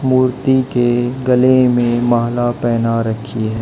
मूर्ति के गले में माला पहेना रखी है।